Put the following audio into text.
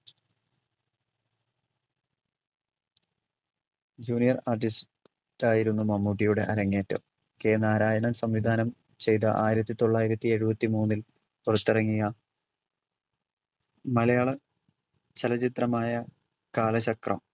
junior artist ആയിട്ടായിരുന്നു മമ്മൂട്ടിയുടെ അരങ്ങേറ്റം. K നാരായണൻ സംവിധാനം ചെയ്‌ത ആയിരത്തി തൊള്ളായിരത്തി എഴുപത്തി മൂന്നിൽ പുറത്തിറങ്ങിയ മലയാള ചലച്ചിത്രമായ കാലചക്രം